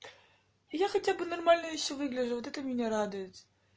я хотя бы нормально если выгляжу вот это меня радует